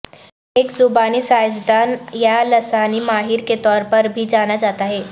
ایک زبانی سائنسدان یا لسانی ماہر کے طور پر بھی جانا جاتا ہے